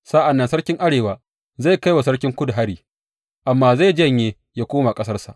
Sa’an nan sarkin Arewa zai kai wa sarkin Kudu hari, amma zai janye, yă koma ƙasarsa.